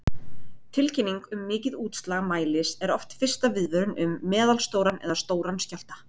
Tilkynning um mikið útslag mælis er oft fyrsta viðvörun um meðalstóran eða stóran skjálfta.